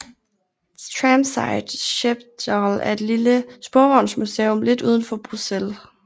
Tramsite Schepdaal er et lille sporvognsmuseum lidt udenfor Bruxelles